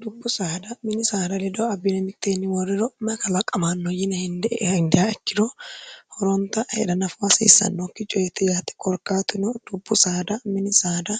dubbu saada mini saada ledo abbine mitteenni woorriro may kalaqamaanno yine henidiha ikkiro horonta heda nafo hasiissannokki coyetti yate korkaatuno dubbu saada mini saada